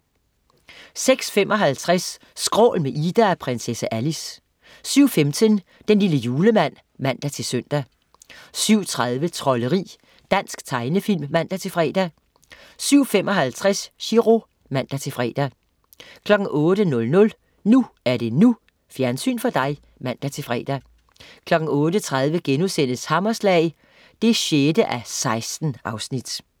06.55 Skrål med Ida og prinsesse Alice 07.15 Den lille julemand (man-søn) 07.30 Trolderi. Dansk tegnefilm (man-fre) 07.55 Chiro (man-fre) 08.00 NU er det NU. Fjernsyn for dig (man-fre) 08.30 Hammerslag 6:16*